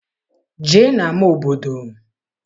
Jee n'ama obodo!